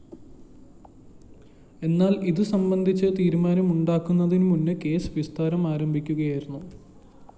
എന്നാല്‍ ഇതു സംബന്ധിച്ച തീരുമാനമുണ്ടാകുന്നതിന് മുമ്പ് കേസ് വിസ്താരം ആരംഭിക്കുകയായിരുന്നു